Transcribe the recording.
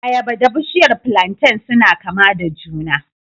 Ayaba da bishiyar plantain suna kama da juna